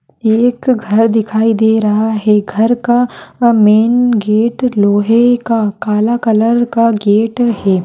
एक घर दिखाई दे रहा है घर का मेन गेट लोहे का काला कलर का गेट है।